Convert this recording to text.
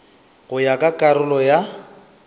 go ya ka karolo ya